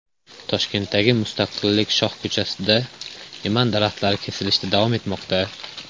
Toshkentdagi Mustaqillik shoh ko‘chasida eman daraxtlari kesilishda davom etmoqda .